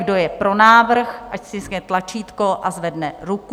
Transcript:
Kdo je pro návrh, ať stiskne tlačítko a zvedne ruku.